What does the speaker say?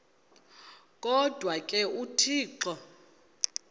kodwa ke uthixo